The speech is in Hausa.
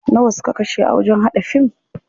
Nawa suka kashe a wajen haɗa fim?